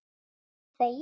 Er þetta ég!?